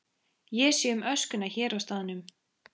Ég sé um öskuna hér á staðnum.